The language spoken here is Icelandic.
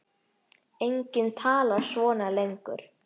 Enginn talar svona lengur.